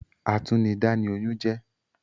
Atúnidá ni oyún jẹ́